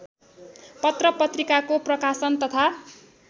पत्रपत्रिकाको प्रकाशन तथा